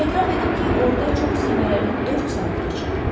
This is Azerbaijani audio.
Etiraf edim ki, orda çox səmərəli dörd saat keçirdim.